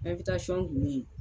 kun bɛ yen.